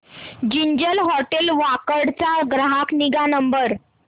ginger hotel Wakad चा ग्राहक निगा नंबर